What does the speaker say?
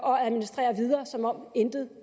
og administrere videre som om intet